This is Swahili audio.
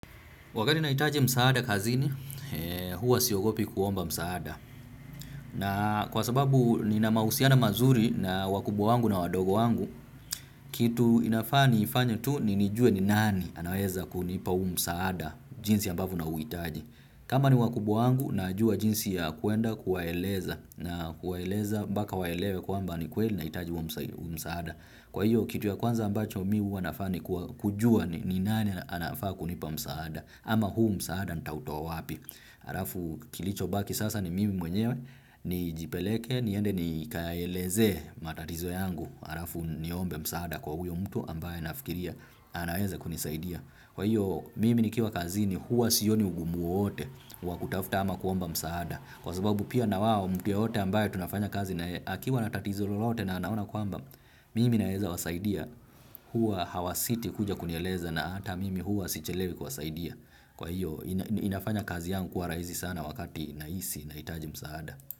Wakati nahitaji msaada kazini, huwa siogopi kuomba msaada. Na kwa sababu nina mahusiana mazuri na wakubwa wangu na wadogo wangu, kitu inafaa niifanya tu ni nijue ni nani anaeza kunipa huum saada jinsi ambavyo nauhitaji. Kama ni wakubwa wangu, najua jinsi ya kwenda kuwaeleza na kuwaeleza mpaka waelewe kwamba ni kweli nahitaji huo msaada. Kwa hiyo, kitu ya kwanza ambacho mimi huwa nafanya nii kujua ni nani anafaa kunipa msaada. Ama huu msaada nitautoa wapi. Alafu kilichobaki sasa ni mimi mwenyewe nijipeleke niende nikaaeleze matatizo yangu. Alafu niombe msaada kwa huyo mtu ambaye nafikiria. Anaweza kunisaidia. Kwa hiyo mimi nikiwa kazini huwa sioni ugumu wowote. Wa kutafuta ama kuomba msaada. Kwa sababu pia na wao mtu yeyote ambaye tunafanya kazi na yeye akiwa na tatizo lolote na anaona kwamba. Mimi naezawasaidia huwa hawasiti kuja kunieleza na hata mimi huwa sichelewi kuwasaidia. Kwa hiyo inafanya kazi yangu kuwa raihisi sana wakati nahisi nahitaji musaada.